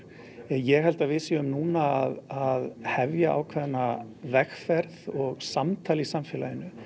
ég held að við séum núna að hefja ákveðna vegferð og samtal í samfélaginu